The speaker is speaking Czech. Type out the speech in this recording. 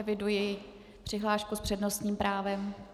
Eviduji přihlášku s přednostním právem.